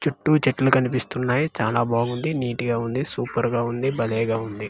చుట్టూ చెట్లు కనిపిస్తున్నాయి చానా బాగుంది నీటి గా ఉంది సూపర్ గా ఉంది భలేగా ఉంది.